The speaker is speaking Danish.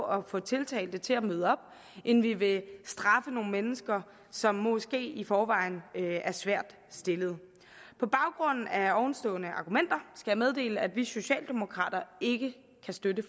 at få tiltalte til at møde op end vi vil straffe nogle mennesker som måske i forvejen er svært stillet på baggrund af ovenstående argumenter skal jeg meddele at vi socialdemokrater ikke kan støtte